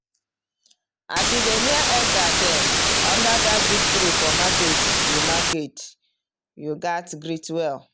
as you dey near elder dem under that big tree for market you market you gats greet well.